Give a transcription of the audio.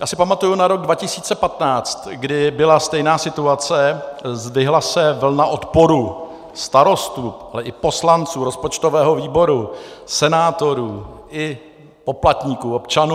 Já si pamatuji na rok 2015, kdy byla stejná situace, zdvihla se vlna odporu starostů, ale i poslanců rozpočtového výboru, senátorů i poplatníků, občanů.